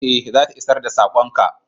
Eh, za ta isar da sakon ka.